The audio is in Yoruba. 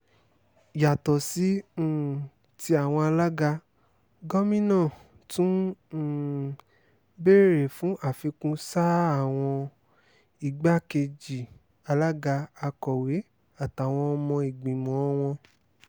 yàtọ̀ sí um tí àwọn alága gómìnà tún um béèrè fún àfikún sáà àwọn igbákejì alága akọ̀wé àtàwọn ọmọ ìgbìmọ̀ wọn